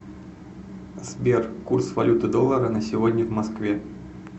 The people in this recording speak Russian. сбер курс валюты доллара на сегодня в москве